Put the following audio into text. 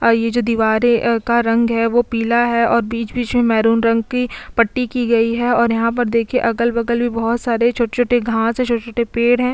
और ये जो दीवारे का रंग है वो पीला है और बीच - बीच में मेहरून रंग की पट्टी की गई है और यहाँ पर देखिये अगल - बगल भी बहुत सारे छोटे - छोटे घास है छोटे - छोटे पेड़ है।